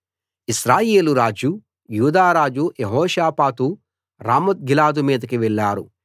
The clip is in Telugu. ఇశ్రాయేలు రాజు యూదారాజు యెహోషాపాతు రామోత్గిలాదు మీదికి వెళ్ళారు